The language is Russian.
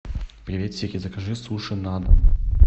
привет сири закажи суши на дом